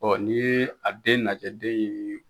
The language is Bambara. n'i ye a den lajɛ den ye